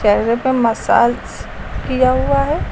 चेहरे पर मसाज किया हुआ है।